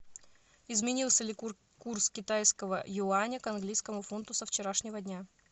изменился ли курс китайского юаня к английскому фунту со вчерашнего дня